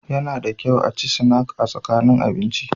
Yana da kyau a ci sinak a tsakanin abinci.